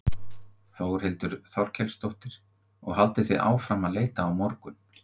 Þórhildur Þorkelsdóttir: Og haldið þið áfram að leita á morgun?